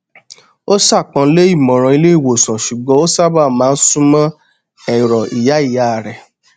ó ṣàpọnlé ìmọràn ilé ìwòsàn ṣùgbọn ó sábà má n súnmọ ẹrọ ìyá ìyá rẹ